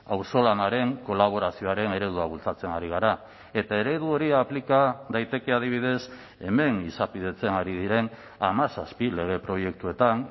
auzolanaren kolaborazioaren eredua bultzatzen ari gara eta eredu hori aplika daiteke adibidez hemen izapidetzen ari diren hamazazpi lege proiektuetan